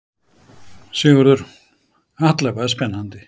Sigurður: Alla vega spennandi?